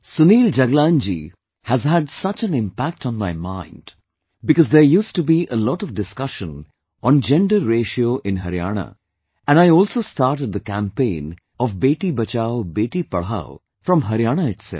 Sunil Jaglan ji has had such an impact on my mind because there used to be a lot of discussion on Gender Ratio in Haryana and I also started the campaign of 'Beti BachaoBeti Padhao' from Haryana itself